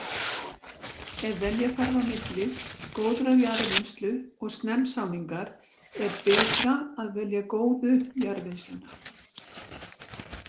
Ef velja þarf á milli góðrar jarðvinnslu og snemmsáningar er betra að velja góðu jarðvinnsluna.